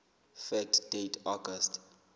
fact date august